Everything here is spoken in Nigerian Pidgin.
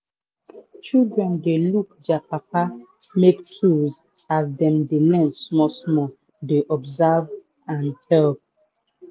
children dey look dier papa make tools as dem de learn small small dey observe and help.